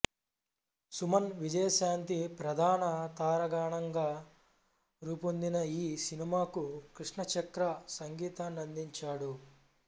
సుమన్ విజయశాంతి ప్రధాన తారాగణంగా రూపొందిన ఈ సినిమాకు కృష్ణ చక్ర సంగీతాన్నందించాడు